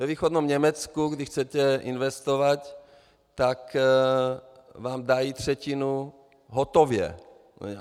Ve východním Německu, když chcete investovat, tak vám dají třetinu hotově.